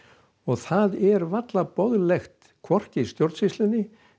og það er varla boðlegt hvorki stjórnsýslunni